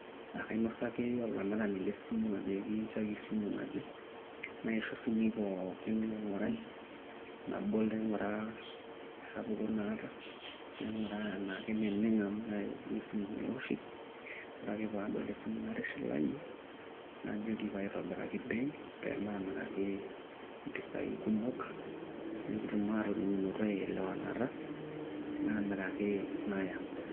Ekainosaki olamirani le simu ajoki nchooki esimu naje, naisho simui poookin maing`urai nabol naing`uraa esapuko naata, naing`uraa enaa keneng amu mayieu nanu esimu nairoshi. Ore ake pee adol esimu natishilayie najoki pee aitobiraki bei pe maamiraki mpisai kumok. Nekitum aatoning`oto aelewanata namiraki naya.